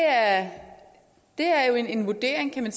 at det er en vurdering